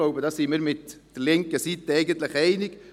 Ich glaube, da gehen wir eigentlich mit der linken Seite einig.